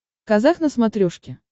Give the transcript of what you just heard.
казах на смотрешке